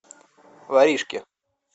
воришки